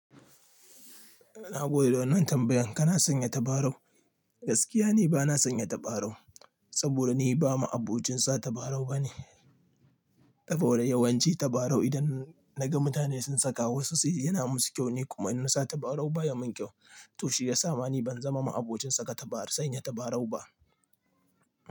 Na gode da wann nan tambayan kana sanya tabarau? Gaskiya ni bana sanya tabarau saboda ni ba ma abocin sa tabarau bane. Saboda yawanci tabarau idan naga mutane sun saka wasu sai yana musu kyau ni kuma inusa tabarau baya min kyau. To shi ya sa mani ban zama ma'abocin saka tabarau sanya tabarau ba.